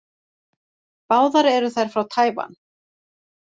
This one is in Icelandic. Báðar eru þær frá Tævan.